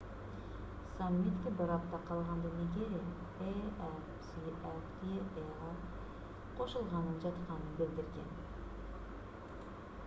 саммитке бир апта калганда нигерия afcfta'га кошулганы жатканын билдирген